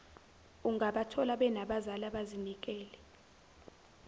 ungabathola benabazali abazinikele